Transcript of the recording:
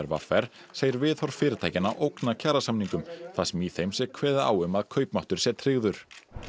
v r segir viðhorf fyrirtækjanna ógna kjarasamningum þar sem í þeim sé kveðið á um að kaupmáttur sé tryggður